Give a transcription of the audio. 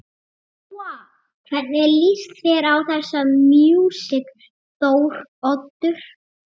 Lóa: Hvernig lýst þér á þessa músík Þóroddur?